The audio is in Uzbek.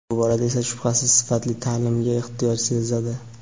bu borada esa shubhasiz sifatli ta’limga ehtiyoj sezadi.